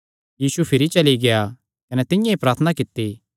कने यीशु भिरी चली गेआ कने तिंआं ई प्रार्थना कित्ती